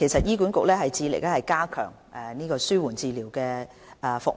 醫管局致力加強紓緩治療服務。